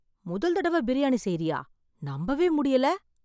முதல் தடவை பிரியாணி செய்றியா? நம்பவே முடியல